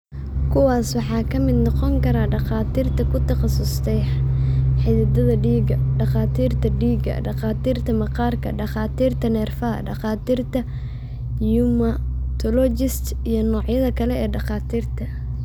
Kuwaas waxaa ka mid noqon kara dhakhaatiirta ku takhasusay xididdada dhiigga, dhakhaatiirta dhiigga, dhakhaatiirta maqaarka, takhaatiirta neerfaha, dhakhaatiirta rheumatologists, iyo noocyada kale ee dhakhaatiirta.